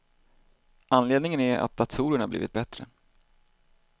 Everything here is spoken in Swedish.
Anledningen är att datorerna blivit bättre.